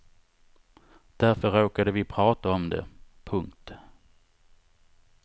Därför råkade vi prata om det. punkt